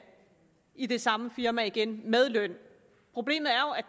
i det samme firma igen med løn problemet